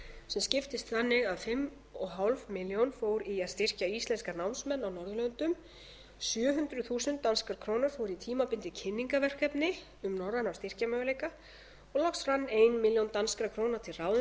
sem skiptist þannig að fimm og hálfa milljón fór í að styrkja íslenska námsmenn á norðurlöndum sjö hundruð þúsund danskar krónur fóru í tímabundið kynningarverkefni um norræna styrkjamöguleika og loks rann ein milljón danskar krónur til ráðuneytanna